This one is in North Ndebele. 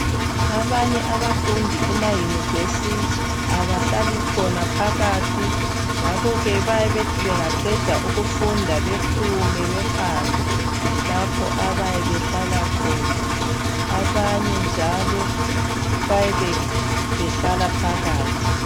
Abanye abafundi kuma yunivesi abahlali khona phakathi ngakho ke bayebethi bengaqeda ukufunda bephume behambe lapho abayebehlala khona abanye njalo bayebehlala phakathi.